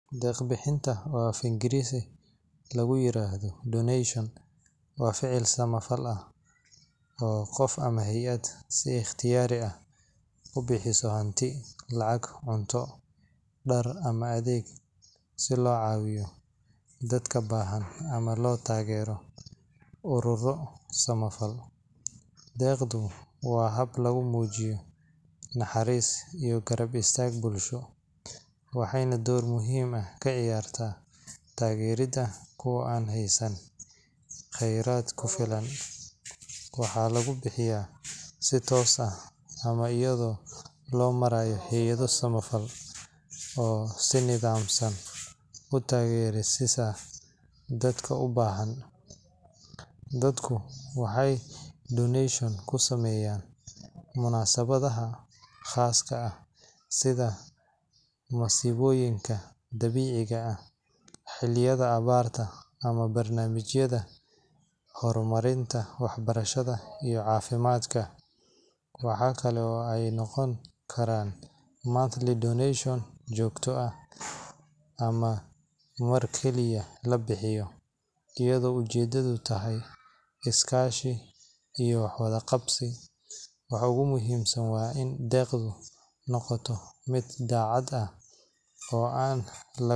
Deeq-bixintu, oo af-Ingiriisi lagu yiraahdo donation, waa ficil samafal ah oo qof ama hay’ad si ikhtiyaari ah ku bixiso hanti, lacag, cunto, dhar, ama adeeg si loo caawiyo dadka baahan ama loo taageero ururro samafal. Deeqdu waa hab lagu muujiyo naxariis iyo garab istaag bulsho, waxayna door muhiim ah ka ciyaartaa taageeridda kuwa aan haysan kheyraad ku filan. Waxaa lagu bixiyaa si toos ah ama iyadoo loo marayo hay’ado samafal oo si nidaamsan u gaarsiisa dadka u baahan. Dadku waxay donation ku sameeyaan munaasabadaha khaaska ah sida masiibooyinka dabiiciga ah, xilliyada abaarta, ama barnaamijyada horumarinta waxbarashada iyo caafimaadka. Waxa kale oo ay noqon kartaa monthly donation joogto ah ama mar keliya la bixiyo, iyadoo ujeedadu tahay is-kaashi iyo wax-wada-qabsi. Waxa ugu muhiimsan waa in deeqdu noqoto mid daacad ah oo aan.